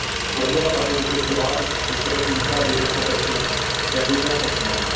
Pour moi, parler de pêche durable ne se résume pas à des incantations et à de bons sentiments.